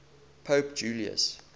pope julius